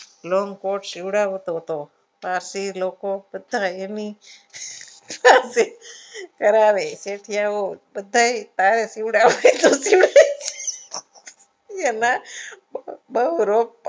Long coat સિવડાવતો હતો પાસે લોકો બધાને એની કરાવે હવે ધોતિયું એના બહુ રોગ